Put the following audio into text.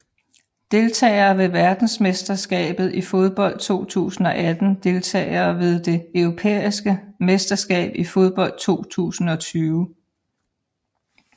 Deltagere ved verdensmesterskabet i fodbold 2018 Deltagere ved det europæiske mesterskab i fodbold 2020